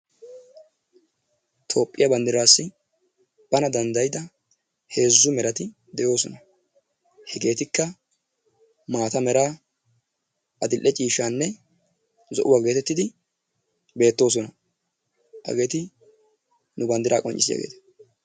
Tophiyaa bandirassi banna dandayiddaa hezu meratti de'osonna, hegettikkaa maata mera, adile cishaanne zo'uwaa gettetidi bettosonna. Hagetti nu bandiraa qonccisiyaagettaa.